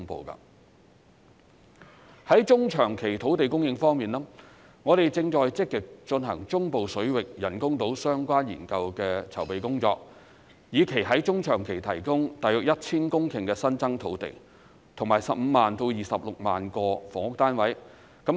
在中長期土地供應方面，我們正積極進行中部水域人工島相關研究的籌備工作，以期在中長期提供大約 1,000 公頃新增土地，以及15萬至26萬個房屋單位。